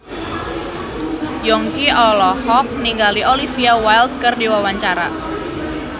Yongki olohok ningali Olivia Wilde keur diwawancara